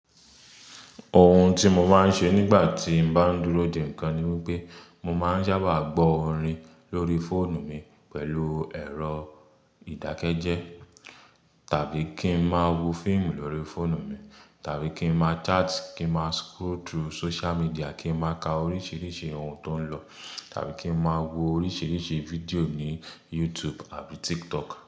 Ohun tí mo máa ń ṣe nígbà tí n bá dúró dè ń kan ni wípé mo máa ń sábà gbọ́ orin lórí fóònù mi pẹ̀lú ẹ̀rọ ìdákẹ́jẹ́, tàbí kí n máa wo fíìmù lórí fóònù mi, tàbí kí n máa chat, kí máa scroll through social media, kí n máa ka oríṣiríṣi ohun tó ń lọ, tàbí kí n máa wo oríṣiríṣi fídíò ní YouTube àbí TikTok.